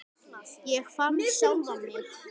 Ég fann sjálfan mig.